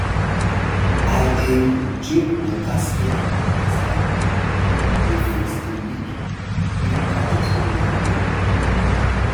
i dey um drink water steady as i um dey fix the leak wey catch us unaware um